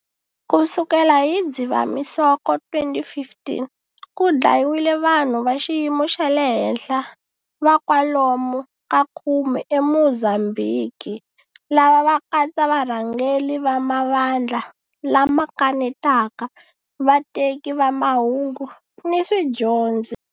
Ku sukela hi Dzivamisoko 2015, ku dlayiwile vanhu va xiyimo xa le henhla va kwalomu ka khume eMozambhiki. Lava va katsa varhangeri va mavandla lama kanetaka, vateki va mahungu, ni swidyondzi.